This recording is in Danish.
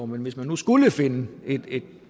men hvis man nu skulle finde et et